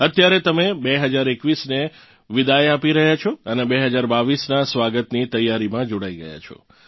અત્યારે તમે 2021ને વિદાય આપી રહ્યાં છો અને 2022નાં સ્વાગતની તૈયારીમાં જોડાઇ ગયાં છો